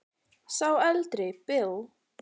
Sá eldri Bill.